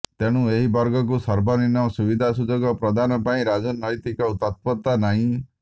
ଏଣୁ ଏହି ବର୍ଗଙ୍କୁ ସର୍ବନିମ୍ନ ସୁବିଧା ସୁଯୋଗ ପ୍ରଦାନ ପାଇଁ ରାଜନୈତିକ ତତ୍ପରତା ନାହିଁ